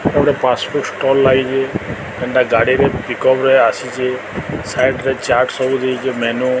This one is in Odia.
ଏଟା ଗୋଟେ ଲାଇଭ ଗାଡ଼ିରେ ପିକପ ରେ ଆସିଛି ସାଇଟ୍ ରେ ଚାଟ୍ ସବୁ ଦେଇଚି ମେନୁ --